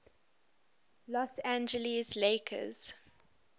los angeles lakers